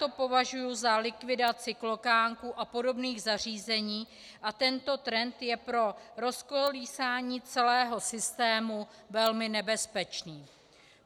To považuji za likvidaci klokánků a podobných zařízení a tento trend je pro rozkolísání celého systému velmi nebezpečný.